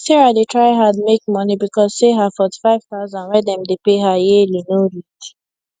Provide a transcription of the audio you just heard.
sarah dey try hard make money because say her fourty five thousand wey dem dey pay her yearly no reach